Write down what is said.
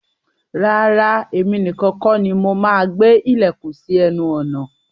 Rárá, èmi nìkan kọ́ ni mo máa gbé ilẹ̀kùn sí ẹnu ọ̀nà.